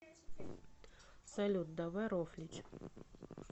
салют давай рофлить